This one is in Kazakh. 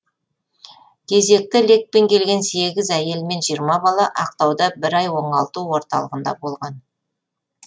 кезекті лекпен келген сегіз әйел мен жиырма бала ақтауда бір ай оңалту орталығында болған